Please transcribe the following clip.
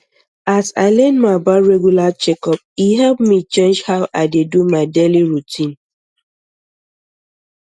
as i learn more about regular checkup e help me change how i dey do my daily routine